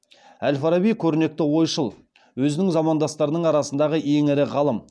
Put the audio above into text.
әл фараби көрнекті ойшыл өзінің замандастарының арасындағы ең ірі ғалым